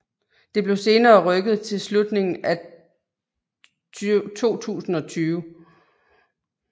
Det blev senere rykket til slutningen af 2020